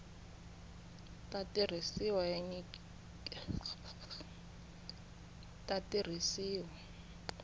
ta tirhisiwa ya nyikiwile eka